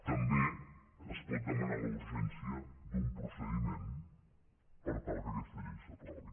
també es pot demanar la urgència d’un procediment per tal que aquesta llei s’aprovi